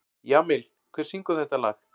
Jamil, hver syngur þetta lag?